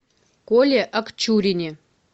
коле акчурине